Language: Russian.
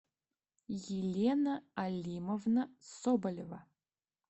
елена алимовна соболева